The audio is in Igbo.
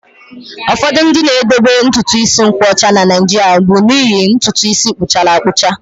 Ụfọdụ ndị na-edobe ntutu isi nkwọcha na Naịjirịa bụ n'ihi ntutu isi puchara apucha